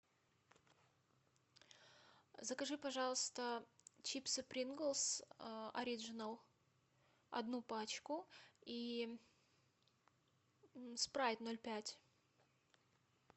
закажи пожалуйста чипсы принглс ориджинал одну пачку и спрайт ноль пять